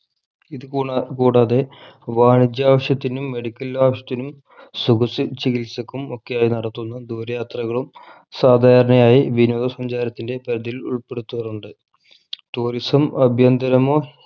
ഇത് കുണ കൂടാതെ വാണിജ്യാവശ്യത്തിനും medical ആവശ്യത്തിനും സുഖ സി ചികിത്സക്കും ഒക്കെയായി നടത്തുന്ന ദൂര യാത്രകളും സാധാരണയായി വിനോദ സഞ്ചാരത്തിൻ്റെ പതിൽ ഉൾപ്പെടുത്താറുണ്ട് tourism ആഭ്യന്തരമോ